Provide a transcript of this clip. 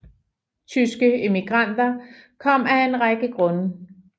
Tyske immigranter kom af en række grunde